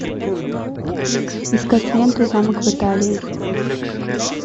искать ленту замок в италии